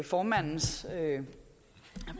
formandens